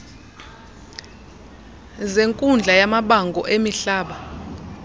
zenkundla yamabango emihlaba